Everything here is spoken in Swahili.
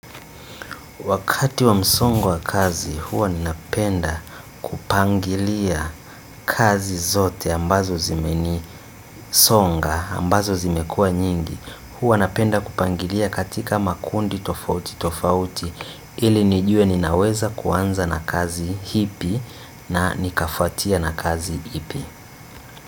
Wakati wa msongo wa kazi huwa ninapenda kupangilia kazi zote ambazo zimeni songa, ambazo zimekuwa nyingi. Huwa napenda kupangilia katika makundi tofauti tofauti ili nijue ninaweza kuanza na kazi ipi na nikafwatia na kazi ipi.